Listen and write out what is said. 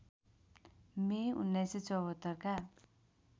मे १९७४ का